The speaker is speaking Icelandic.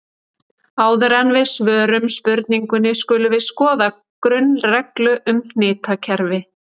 Áður en við svörum spurningunni skulum við skoða grunnreglur um hnitakerfi.